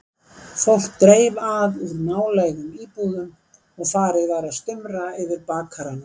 Fólk dreif að úr nálægum íbúðum og farið var að stumra yfir bakaranum.